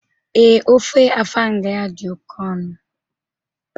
Ee, ofe afang ya di oke onu